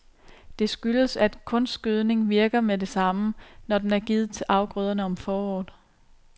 Det skyldes, at kunstgødningen virker med det samme, når den er givet til afgrøderne om foråret.